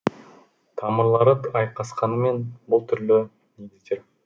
тамырлары айқасқанымен бұл түрлі негіз